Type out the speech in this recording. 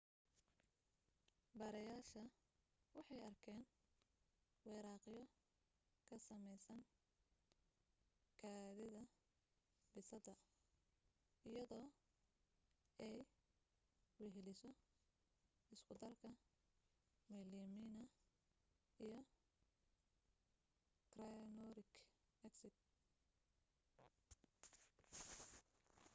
baarayaasha waxay arkeen wiriqyo kasameysan kaadida bisada iyadoo ay weheliso iskudarka melamine iyo cyanuric acid